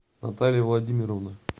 наталья владимировна